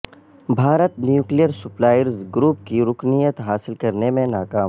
Bharat nuclear suppliers group کی رکنیت حاصل کرنے میں ناکام